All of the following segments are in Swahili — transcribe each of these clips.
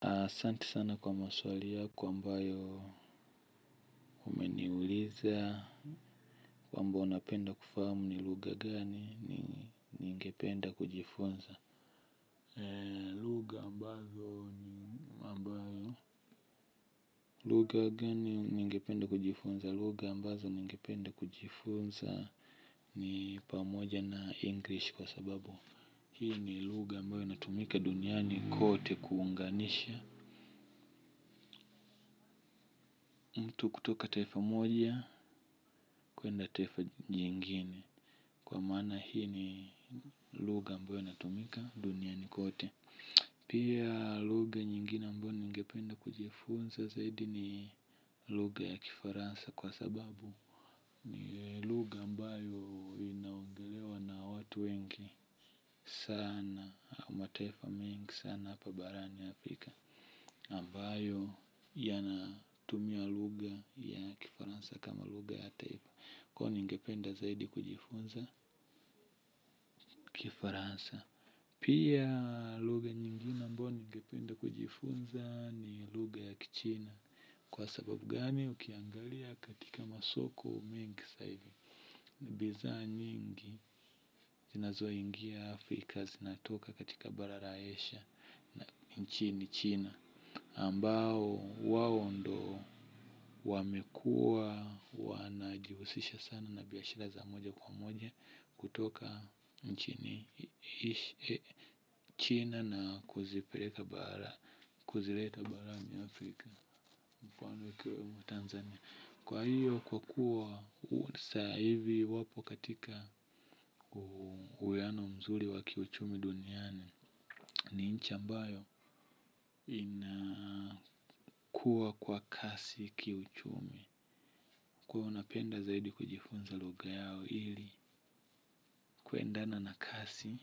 Asante sana kwa maswali yako, ambayo umeniuliza, kwamba unapenda kufahamu ni lugha gani, ni ningependa kujifunza. Lugha ambazo ni, ambayo. Lugha gani ningependa kujifunza? Lugha ambazo ningependa kujifunza ni pamoja na English kwa sababu. Hii ni lugha ambayo inatumika duniani kote kuunganisha. Mtu kutoka taifa moja kwenda taifa lingine. Kwa maana hii ni lugha ambayo inayotumika dunia nzima. Pia lugha nyingine ambayo ningependa kujifunza zaidi ni lugha ya Kifaransa kwa sababu ni lugha ambayo inaongelewa na watu wengi sana au mataifa mengi sana hapa barani Afrika ambayo yanatumia lugha ya Kifaransa kama lugha ya taifa. Kwa hiyo ningependa zaidi kujifunza. Kifaransa. Pia lugha nyingine ambayo ningependa kujifunza ni lugha ya Kichina. Kwa sababu gani? Ukiangalia katika masoko mengi sasa hivi. Bidhaa nyingi zinazoingia Afrika zinatoka katika bara la Asia. Nchini China, ambao wao ndio wamekuwa wanajihusisha sana na biashara za moja kwa moja. Kutoka nchini China na kuzipeleka bara kuzileta barani Afrika. Kwa hiyo kwa kuwa sasa hivi wapo katika uwiano mzuri wa kiuchumi duniani. Ni nchi ambayo inakua kwa kasi kiuchumi. Kwa hiyo napenda zaidi kujifunza lugha yao ili kuendana na kasi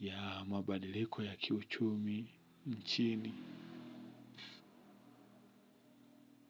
ya mabadiliko ya kiuchumi nchini.